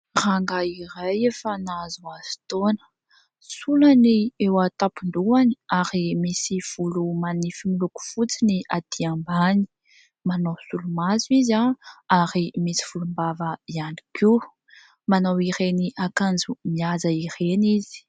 Rangahy iray efa nahazoazo taona. Sola ny eo an-tampon-dohany ary misy volo manify miloko fotsy ny aty ambany. Manao solomaso izy ary misy volombava ihany koa. Manao ireny akanjo mihaja ireny izy.